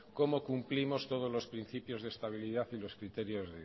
cómo cumplimos todos los principios de estabilidad y los criterios